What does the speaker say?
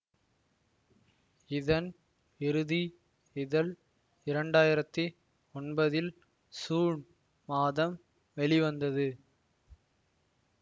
இதன் இறுதி இதழ் இரண்டாயிரத்தி ஒன்பதில் சூன் மாதம் வெளிவந்தது